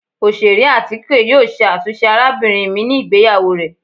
Oṣere atike yoo ṣe atunṣe arabinrin mi ni igbeyawo rẹ.